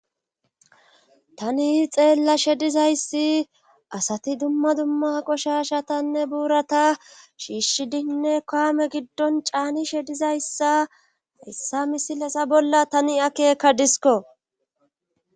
Tani xeella shedizayssi asati dumma dumma qoshashatanne buurata shiishshidinne kaame giddon caani shedizayssa yssa misilasa bolla tani akeekka disko.